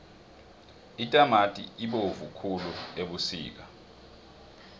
itamati ibovu khulu ebusika